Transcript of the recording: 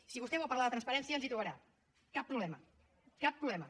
si vostè vol parlar de transparència ens hi trobarà cap problema cap problema